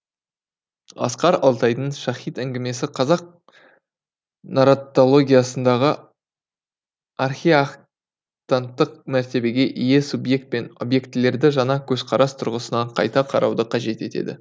асқар алтайдың шаһид әңгімесі қазақ нарратологиясындағы архиактанттық мәртебеге ие субъект пен объектілерді жаңа көзқарас тұрғысынан қайта қарауды қажет етеді